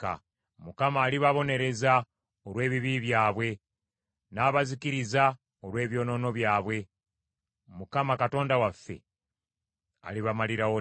Mukama alibabonereza olw’ebibi byabwe, n’abazikiriza olw’ebyonoono byabwe; Mukama Katonda waffe alibamalirawo ddala.